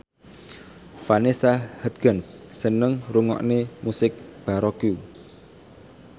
Vanessa Hudgens seneng ngrungokne musik baroque